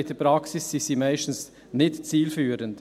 In der Praxis sind diese meistens nicht zielführend.